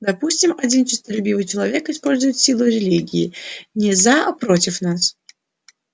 допустим один честолюбивый человек использует силу религии не за а против нас